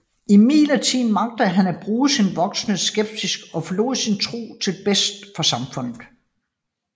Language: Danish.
Imidlertid magtede han at bruge sin voksende skepsis og forlod sin tro til bedste for samfundet